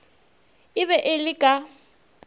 e be e le ka